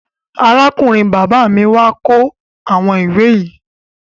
Arákùnrin bàbá mi wà kó àwọn ìwé yìí.